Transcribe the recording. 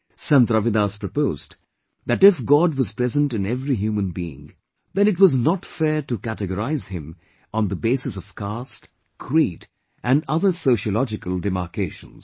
Sant Ravidas proposed that if God was present in every human being, then it was not fair to categorize him on the basis of caste, creed and other sociological demarcations